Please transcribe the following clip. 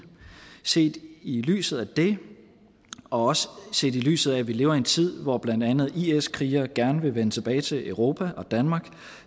set i lyset af det og også set i lyset af at vi lever i en tid hvor blandt andet is krigere gerne vil vende tilbage til europa og danmark